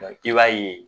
i b'a ye